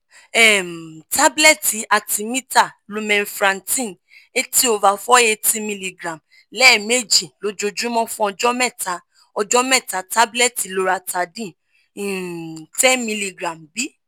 um tablet artemether lumenfantrine eighty over four eighty milligram lẹ́ẹ̀mejì lóòjúmọ́ fun Ọjọ́ mẹ́ta Ọjọ́ mẹ́ta tablet loratadine um ten milligram